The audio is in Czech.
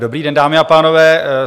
Dobrý den, dámy a pánové.